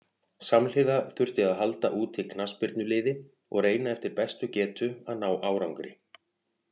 Samhliða þurfti að halda úti knattspyrnuliði og reyna eftir bestu getu að ná árangri.